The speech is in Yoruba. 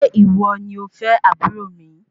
Ṣe iwo ni ọfẹ aburo mi?